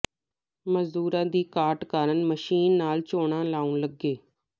ਮਜ਼ਦੂਰਾਂ ਦੀ ਘਾਟ ਕਾਰਨ ਮਸ਼ੀਨ ਨਾਲ ਝੋਨਾ ਲਾਉਣ ਲੱਗੇ